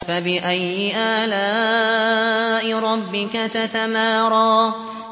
فَبِأَيِّ آلَاءِ رَبِّكَ تَتَمَارَىٰ